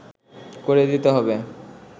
করে দিতে হবে